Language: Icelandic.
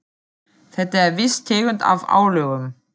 Þetta er viss tegund af álögum.